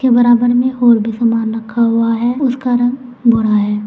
बराबर में और भी सामान रखा हुआ है उसका रंग भूरा है।